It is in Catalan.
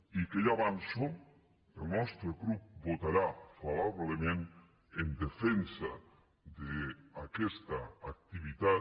i que ja ho avanço el nostre grup votarà favorablement en defensa d’aquesta activitat